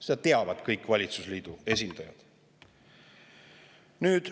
Seda teavad kõik valitsusliidu esindajad.